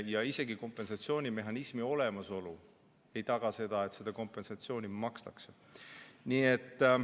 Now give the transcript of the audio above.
Ja isegi kompensatsioonimehhanismi olemasolu ei taga seda, et kompensatsiooni makstakse.